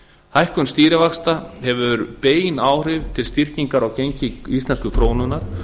hækkun stýrivaxta hefur bein áhrif til styrkingar á gengi íslensku krónunnar